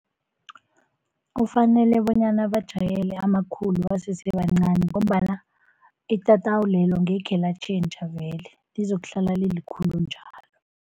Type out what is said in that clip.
Kufanele bonyana bajayele amakhulu basese bancani, ngombana itatawu lelo ngekhe latjhentjha vele lizokuhlala lilikhulu njalo.